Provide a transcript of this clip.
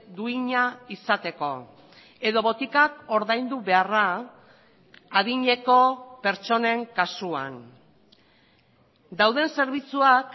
duina izateko edo botikak ordaindu beharra adineko pertsonen kasuan dauden zerbitzuak